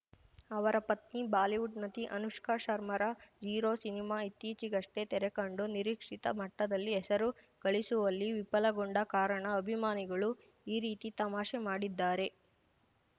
ಅವರ ಪತ್ನಿ ಬಾಲಿವುಡ್‌ ನಟಿ ಅನುಷ್ಕಾ ಶರ್ಮಾರ ಝೀರೋ ಸಿನಿಮಾ ಇತ್ತೀಚೆಗಷ್ಟೇ ತೆರೆಕಂಡು ನಿರೀಕ್ಷಿತ ಮಟ್ಟದಲ್ಲಿ ಹೆಸರು ಗಳಿಸುವಲ್ಲಿ ವಿಫಲಗೊಂಡ ಕಾರಣ ಅಭಿಮಾನಿಗಳು ಈ ರೀತಿ ತಮಾಷೆ ಮಾಡಿದ್ದಾರೆ